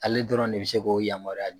Ale dɔrɔn de bɛ se k'o yamaruya di